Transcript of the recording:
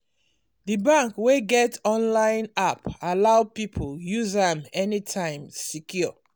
d bank wey get online app allow people use am anytime secure